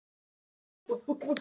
Hann svaraði greiðlega.